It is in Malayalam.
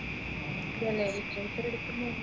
literature എടുക്കുമ്പോ